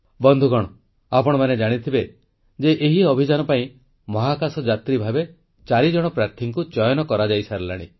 ବନ୍ଧୁଗଣ ଆପଣମାନେ ଜାଣିଥିବେ ଯେ ଏହି ଅଭିଯାନ ପାଇଁ ମହାକାଶ ଯାତ୍ରୀ ଭାବେ 4 ଜଣ ପ୍ରାର୍ଥୀଙ୍କୁ ଚୟନ କରାଯାଇସାରିଲାଣି